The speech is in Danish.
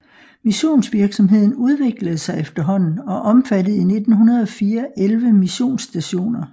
Missionsvirksomheden udviklede sig efterhånden og omfattede i 1904 11 missionsstationer